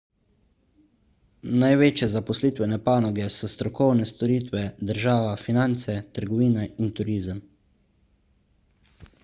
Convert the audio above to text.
največje zaposlitvene panoge so strokovne storitve država finance trgovina in turizem